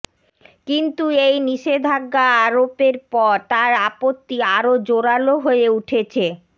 কিন্তু এই নিষেধাজ্ঞা আরোপের পর তার আপত্তি আরো জোরালো হয়ে উঠেছে